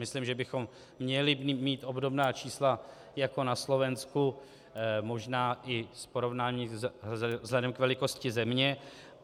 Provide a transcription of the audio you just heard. Myslím, že bychom měli mít obdobná čísla jako na Slovensku, možná i s porovnáním vzhledem k velikosti země.